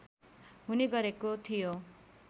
हुने गरेको थियो